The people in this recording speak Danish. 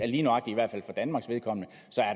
lige nøjagtig danmarks vedkommende